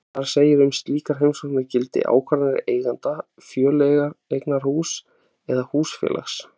Þar segir að um slíkar heimsóknir gildi ákvarðanir eigenda fjöleignarhúss eða húsfélags.